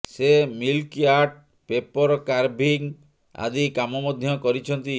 ସେ milk art paper carving ଆଦି କାମ ମଧ୍ୟ କରିଛନ୍ତି